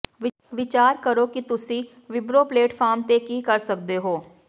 ਵਿਚਾਰ ਕਰੋ ਕਿ ਤੁਸੀਂ ਵਿਬਰੋ ਪਲੇਟਫਾਰਮ ਤੇ ਕੀ ਕਰ ਸਕਦੇ ਹੋ